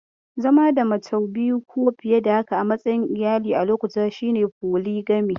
Zama da mace biyu ko fiye da haka a matsayin iyali a lokaci guda, shi ne polygamy.